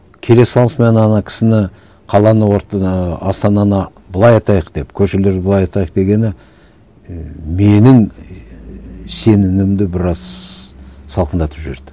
келе салысымен ана кісіні қаланы құртты да і астананы былай атайық деп көшелерді былай атайық дегені і менің сенімімді біраз салқындатып жіберді